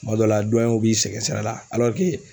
Kuma dɔ la dɔnɲɛw b'i sɛgɛsɛgɛ la